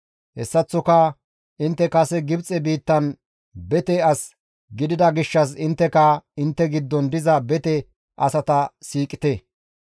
Hessaththoka intte kase Gibxe biittan bete as gidida gishshas intteka intte giddon diza bete asata siiqite.